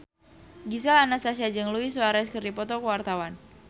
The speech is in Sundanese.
Gisel Anastasia jeung Luis Suarez keur dipoto ku wartawan